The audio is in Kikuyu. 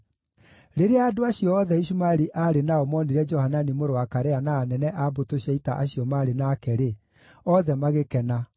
Rĩrĩa andũ acio othe Ishumaeli aarĩ nao monire Johanani mũrũ wa Karea na anene a mbũtũ cia ita acio maarĩ nake-rĩ, othe magĩkena.